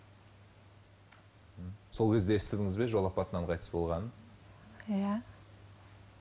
сол кезде естідіңіз бе жол апатынан қайтыс болғанын иә